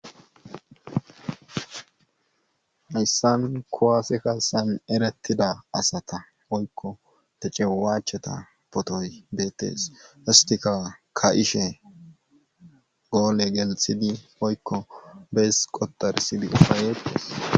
Hayssan kuwaase kaassan erettida asata woykko tecewwacheta pootoy beettees isttiak kaa7ishe goole gelssidi woykko bees qoxxarisidi ufayettees.